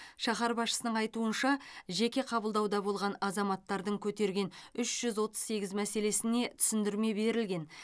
шаһар басшысының айтуынша жеке қабылдауда болған азаматтардың көтерген үш жүз отыз сегіз мәселесіне түсіндірме берілген